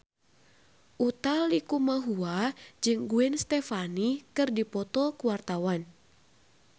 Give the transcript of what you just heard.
Utha Likumahua jeung Gwen Stefani keur dipoto ku wartawan